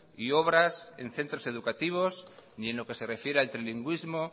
y obras en centro educativos ni en lo que se refiere al trilingüismo